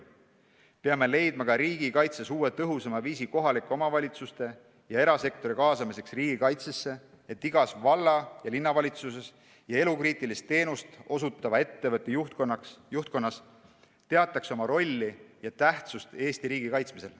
Peame leidma ka riigikaitses uue, tõhusama viisi kohalike omavalitsuste ja erasektori kaasamiseks riigikaitsesse, et igas valla- ja linnavalitsuses ja elukriitilist teenust osutava ettevõtte juhtkonnas teataks oma rolli ja tähtsust Eesti riigi kaitsmisel.